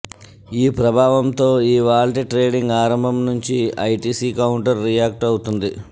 ఈ ప్రభావంతో ఇవాళ్టి ట్రేడింగ్ ఆరంభం నుంచి ఐటీసీ కౌంటర్ రియాక్ట్ అవుతోంది